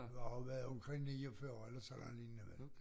Det har været omkring 49 eller sådan lignende vel